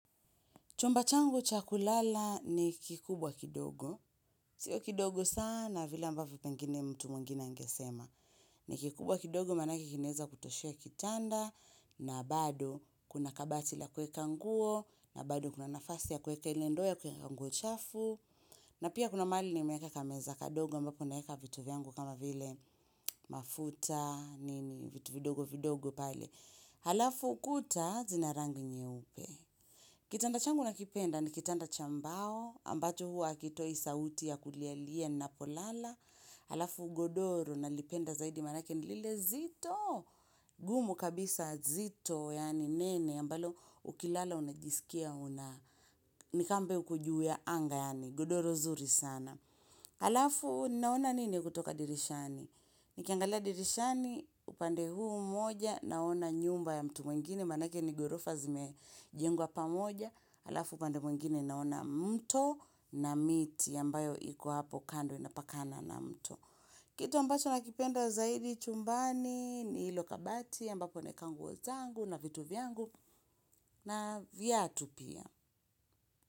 Chumba changu cha kulala ni kikubwa kidogo. Sio kidogo sana vile ambavyo pengine mtu mwingine angesema. Ni kikubwa kidogo maanake kinaweza kutoshea kitanda na bado kuna kabati la kuweka nguo na bado kuna nafasi ya kuweka ile ndo ya kweka nguo chafu na pia kuna mahali nimeweka kameza kadogo ambapo naweka vitu vyangu kama vile mafuta, nini, vitu vidogo vidogo pale. Halafu ukuta zina rangi nyeupe. Kitanda changu nakipenda, ni kitanda cha mbao, ambacho hua akitoi sauti ya kulialie ninapolala, alafu godoro nalipenda zaidi maanake ni lile zito, gumu kabisa zito, yani nene, ambalo ukilala unajisikia, una nikama uko juu ya anga yani, godoro nzuri sana. Alafu naona nini kutoka dirishani Nikiangalia dirishani upande huu mmoja naona nyumba ya mtu mwingine Maanake ni ghorofa zimejengwa pamoja. Alafu upande mwingine naona mto na miti yambayo iko hapo kando inapakana na mto Kitu ambacho nakipenda zaidi chumbani ni hilo kabati ambapo naweka nguo zangu na vitu vyangu na viatu pia.